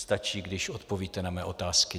Stačí, když odpovíte na mé otázky.